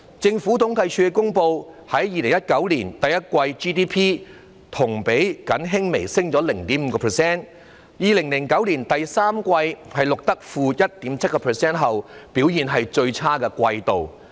政府統計處公布了2019年第一季的 GDP， 同比僅微升 0.5%， 為自從在2009年第三季錄得 -1.7% 後，表現最差的季度。